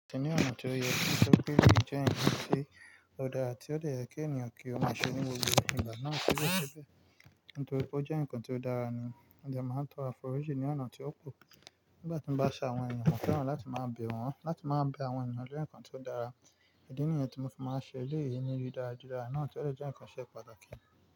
Ati ni ọ̀nà tí ó yẹ nitori pé eleyii je nkan ti ó dára tí ó dè yẹ́ kí ènìyàn kí o maa ṣe ní gbogbo igbà náà síbẹ̀síbẹ̀ nítorípe ó jẹ́ nǹkan tí ó dára ni. Mo de màá n tọ́ro àforíjì ní ọ̀nà tí ó kù nígbà tí mo bá se àwọn ènìyàn, mo fẹ́ràn láti máa bẹ̀ wọ́n, láti máa bẹ àwọn ènìyàn jẹ́ nǹkan tí ó dára. Idi niyen tí mo fi máa n ṣe. Lẹ́yìn èyí ni ríran ara dáradára náà, tí ó jẹ́ nǹkan tí ó ṣe pàtàkì.